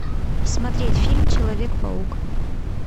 смотреть фильм человек паук